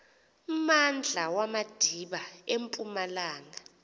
mmandla wamadiba empumalanga